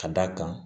Ka d'a kan